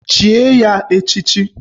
Chie ya echichi!